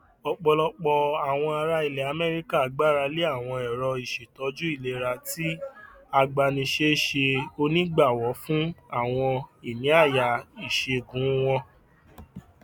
ọpọlọpọ àwọn ará ilẹ amẹríkà gbarale àwọn èrò ìṣètòjú ìlera tí agbánisẹ ṣe onígbàwọ fún àwọn ìníáyà iṣègùn wọn